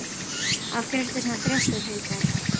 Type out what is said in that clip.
Af hverju ertu svona þrjóskur, Hildar?